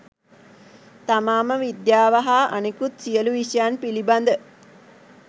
තමාම විද්‍යාව හා අනෙකුත් සියලු විෂයන් පිළිබද